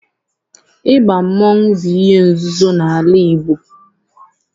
Ịba mmọnwụ bụ ihe nzuzo n'ala Igbo